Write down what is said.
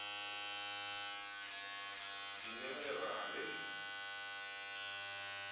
diminerale le eneji le la